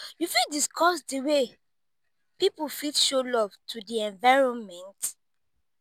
you fit dicuss di way people fit show love to di environment?